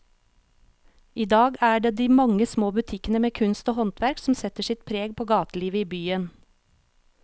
I dag er det de mange små butikkene med kunst og håndverk som setter sitt preg på gatelivet i byen.